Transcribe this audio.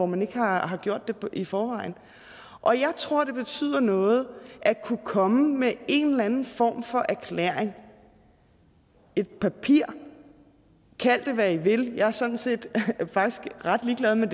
man ikke har har gjort det i forvejen og jeg tror at det betyder noget at kunne komme med en eller anden form for erklæring et papir kald det hvad i vil jeg er sådan set faktisk ret ligeglad med